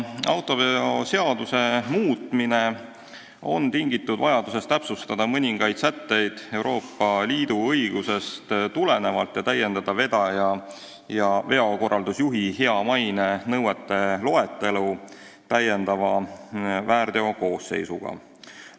Autoveoseaduse muutmine on tingitud vajadusest täpsustada mõningaid sätteid Euroopa Liidu õigusest tulenevalt ning täiendada vedaja ja veokorraldusjuhi hea maine nõuete loetelu täiendava väärteokoosseisuga.